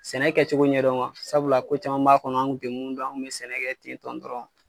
Sɛnɛ kɛcogo ɲɛdɔn wa sabula ko caman m'a kɔnɔ an kun te mun don an kun be sɛnɛ kɛ ten tɔn dɔrɔn